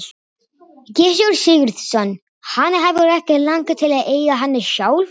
Gissur Sigurðsson: Hana hefur ekki langað til að eiga hana sjálf?